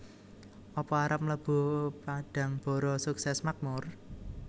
Apa arep mlebu Padangbara Sukses Makmur?